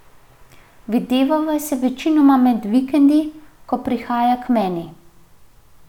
Videvava se večinoma med vikendi, ko prihaja k meni.